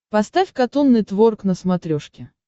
поставь катун нетворк на смотрешке